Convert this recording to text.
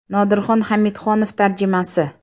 Nodirxon Hamidxonov tarjimasi !